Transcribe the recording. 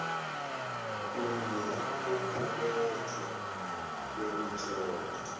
kuye ngokulethwa kwemitlolo